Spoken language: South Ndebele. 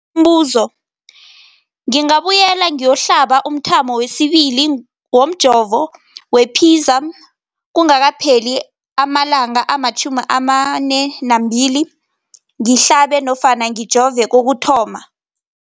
Umbuzo, ngingabuyela ngiyokuhlaba umthamo wesibili womjovo we-Pfizer kungakapheli ama-42 wamalanga ngihlabe nofana ngijove kokuthoma.